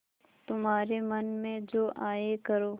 तुम्हारे मन में जो आये करो